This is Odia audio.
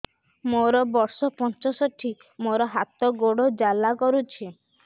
ମୋର ବର୍ଷ ପଞ୍ଚଷଠି ମୋର ହାତ ଗୋଡ଼ ଜାଲା କରୁଛି